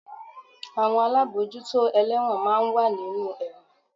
Àwọn alábòójútó ẹlẹ́won máa ń wà nínú ẹ̀wọ̀n